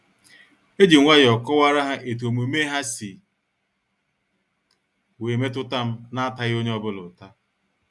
Ejim nwayọọ kọwara ha etu omume ha si wee metutam na ataghi onye ọ bụla uta.